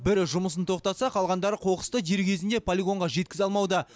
бірі жұмысын тоқтатса қалғандары қоқысты дер кезінде полигонға жеткізе алмауда